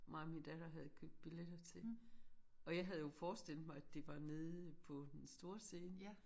Mig og min datter havde købt billetter til. Og jeg havde jo forestillet mig at det var nede på den store scene